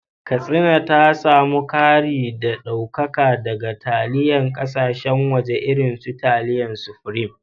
Katsina ta samu kari da daukaka daga taliyar kasashen waje irin su taliyar Supreme